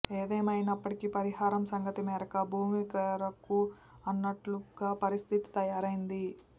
ఏదేమైనప్పటికీ పరిహారం సంగతి మెరక భూమికెరుక అన్నట్టుగా పరిస్థితి తయారైంది